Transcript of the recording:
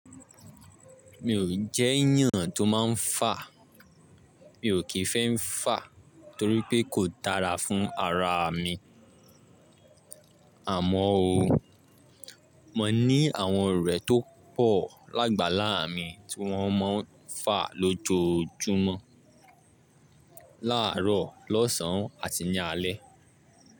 Mi ò jẹ́ ìyàn tó máa ń fà. Mi ò kí fẹ́ ń fà torí pé kò dára fún ara mi. Àmọ́ o, mo ní àwọn ọ̀rẹ́ tó pọ̀ lágbàlá mi tí wọ́n mọ́ ń fà lójoójúmọ́, láàárọ̀, lọ́sàn-án àti ní alẹ́.